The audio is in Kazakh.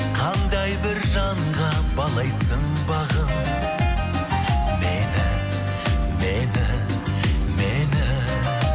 қандай бір жанға балайсың бағым мені мені мені